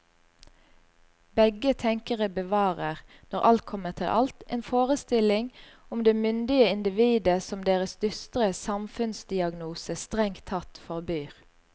Begge tenkere bevarer, når alt kommer til alt, en forestilling om det myndige individet som deres dystre samfunnsdiagnose strengt tatt forbyr.